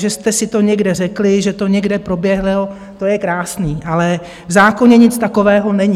Že jste si to někde řekli, že to někde proběhlo, to je krásné, ale v zákoně nic takového není!